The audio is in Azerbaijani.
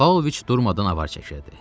Paoviç durmadan avar çəkirdi.